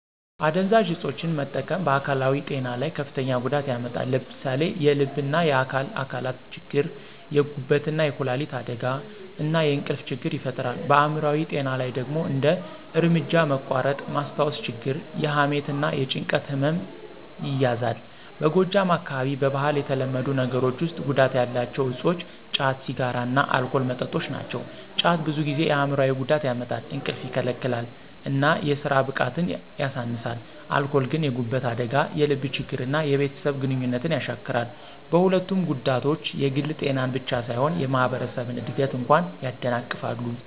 አደንዛዥ እፆችን መጠቀም በአካላዊ ጤና ላይ ከፍተኛ ጉዳት ያመጣል። ለምሳሌ የልብና የአካል አካላት ችግር፣ የጉበትና የኩላሊት አደጋ፣ እና የእንቅልፍ ችግር ይፈጥራል። በአይምሮአዊ ጤና ላይ ደግሞ እንደ እርምጃ መቋረጥ፣ ማስታወስ ችግር፣ የሐሜት እና የጭንቀት ህመም ይያዛል። በጎጃም አካባቢ በባህል የተለመዱ ነገሮች ውስጥ ጉዳት ያላቸው እፆች ጫት፣ ሲጋራ እና አልኮል መጠጦች ናቸው። ጫት ብዙ ጊዜ የአይምሮአዊ ጉዳት ያመጣል፣ እንቅልፍ ይከለክላል እና የስራ ብቃትን ያሳንሳል። አልኮል ግን የጉበት አደጋ፣ የልብ ችግር እና የቤተሰብ ግንኙነት ያሻክራል። በሁለቱም ጉዳቶች የግል ጤናን ብቻ ሳይሆን የማህበረሰብን እድገት እንኳ ያደናቅፋሉ።